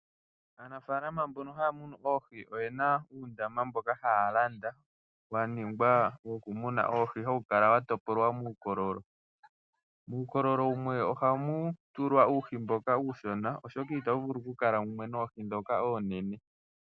Aanafalama mbono haa munu oohi oyena uundaama mhoka haa Landa wa ningwa wo kumuna oohi hawu kala wa topolwa muukololo muukololo wumwe ohamu tulwa uuhi mboka uushona oshoka itawu vulu okutulwa mumwe noohi dhoka oonene.